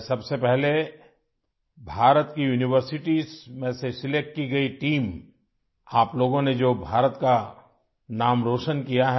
سب سے پہلے، میں بھارت کی یونیورسٹیوں سے منتخب ٹیم کو مبارکباد دیتا ہوں... آپ لوگوں نے بھارت کا نام روشن کیا ہے